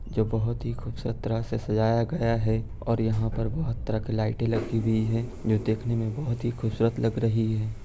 जो बोहोत ही खूबसूरत तरहा से सजाया गया हे । ओर यहा पर बोहोत तरहा की लाइटे लगी हुई है। जो देखने मे बोहोत ही खूबसूरत लग रही है।